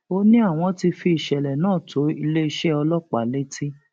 ó ní àwọn ti fi ìṣẹlẹ náà tó iléeṣẹ ọlọpàá létí